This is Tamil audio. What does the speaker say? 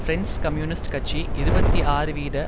பிரெஞ்சு கம்யூனிஸ்ட் கட்சி இருபத்தி ஆறு வீத